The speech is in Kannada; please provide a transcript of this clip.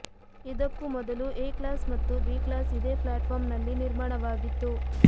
ಇದಕ್ಕೂ ಮೊದಲು ಎ ಕ್ಲಾಸ್ ಮತ್ತು ಬಿ ಕ್ಲಾಸ್ ಇದೇ ಫ್ಲ್ಯಾಟ್ಫಾರ್ಮ್ನಲ್ಲಿ ನಿರ್ಮಾಣವಾಗಿತ್ತು